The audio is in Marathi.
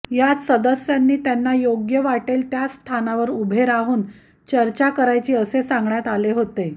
यात सदस्यांनी त्यांना योग्य वाटेल त्या स्थानावर उभे राहून चर्चा करायची असे सांगण्यात आले होते